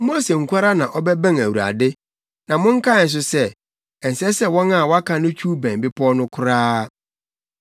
Mose nko ara na ɔbɛbɛn Awurade; na monkae nso sɛ, ɛnsɛ sɛ wɔn a wɔaka no twiw bɛn bepɔw no koraa.”